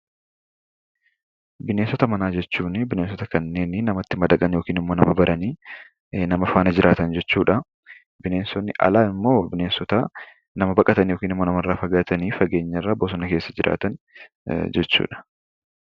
Bineensota manaa jechuun kanneen namatti badaqani yookiin immoo nama baranii nama faana jiraatan jechuudha. Bineensonni alaa immoo bineensota nama baqatan yookiin immoo nama irraa fagaatanii, fageenyarra bosona keessa jiraatan jechuudha.